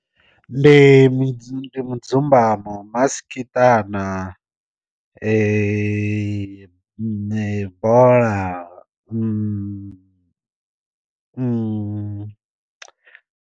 Ndi mudzumbamo maskiṱana bola .